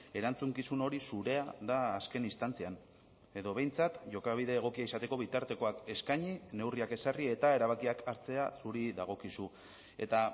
erantzukizun hori zurea da azken instantzian edo behintzat jokabide egokia izateko bitartekoak eskaini neurriak ezarri eta erabakiak hartzea zuri dagokizu eta